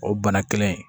O bana kelen in